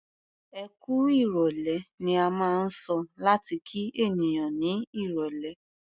"Ẹkú ìrọ̀lẹ́" ni a máa ń sọ láti kí ènìyàn ní irọ̀lẹ́.